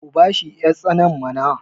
ku bashi yartsanar mana!